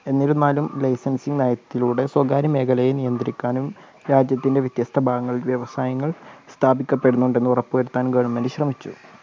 എന്നിരുന്നാലും licensing നയത്തിലൂടെ സ്വകാര്യമേഖലയെ നിയന്ത്രിക്കാനും രാജ്യത്തിൻറെ വ്യത്യസ്ത ഭാഗങ്ങൾ വ്യവസായങ്ങൾ സ്ഥാപിക്കപ്പെടുന്നുണ്ടെന്ന് ഉറപ്പുവരുത്താനും government ശ്രമിച്ചു.